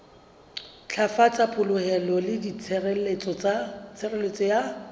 ntlafatsa polokeho le tshireletso ya